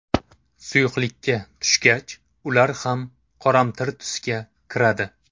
Suyuqlikka tushgach, ular ham qoramtir tusga kiradi.